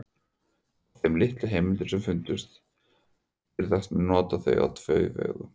Af þeim litlu heimildum sem fundist hafa virðast menn nota það á tvo vegu.